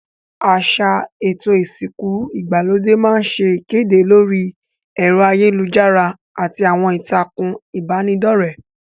Àsà èto ìsìnku ìgbàlódé ma n se ìkédè lórí èro ayélujárá àti àwon ìtàkùn ìbànidọ́rẹ́